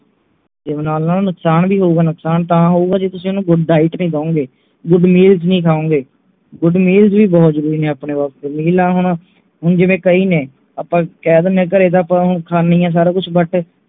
gym ਲਾਣ ਨਾਲ ਨੁਕਸਾਨ ਵੀ ਹੋਊਗਾ ਨੁਕਸਾਨ ਤਾਂ ਹੋਊਗਾ ਜੇ ਤੁਸੀਂ ਓਹਨੂੰ good diet ਨਹੀਂ ਦਿਉਂਗੇ good meals ਨਹੀਂ ਖਾਓਂਗੇ good meals ਵੀ ਬਹੁਤ ਜਰੂਰੀ ਨੇ ਆਪਣੇ ਵਾਸਤੇ meal ਆਹ ਹੁਣ ਜਿਵੇਂ ਕਈ ਨੇ ਆਪਾਂ ਕਹਿ ਦਿੰਨੇ ਹੈਂ ਘਰੇ ਤਾਂ ਆਪਾਂ ਖ਼ਾਨੇ ਹੀ ਹੈ ਸਾਰਾ ਕੁਛ but